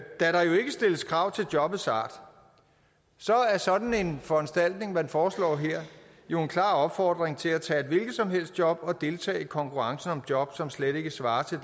stilles krav til jobbets art er sådan en foranstaltning man foreslår her jo en klar opfordring til at tage et hvilket som helst job og deltage i konkurrencen om job som slet ikke svarer til